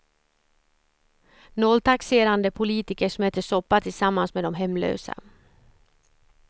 Nolltaxerande politiker som äter soppa tillsammans med de hemlösa.